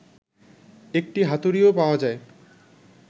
একটি হাতুড়ি্ও পাওয়া যায়